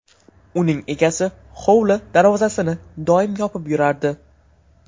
Uning egasi hovli darvozasini doim yopib yurardi.